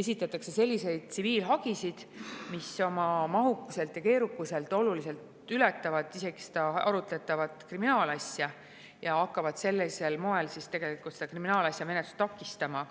esitatakse selliseid tsiviilhagisid, mis oma mahukuselt ja keerukuselt ületavad olulisel määral arutletavat kriminaalasja ja hakkavad tegelikult kriminaalasja menetlust takistama.